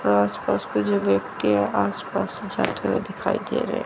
आस पास के जो व्यक्ति हैं आस पास से जाते हुए दिखाई दे रहे हैं।